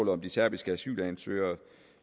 var de serbiske asylansøgere